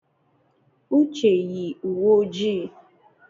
Uche yi uwe ojii.